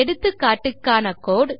எடுத்துக்காட்டுக்கான கோடு